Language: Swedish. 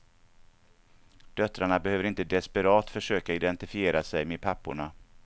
Döttrarna behöver inte desperat försöka identifiera sig med papporna.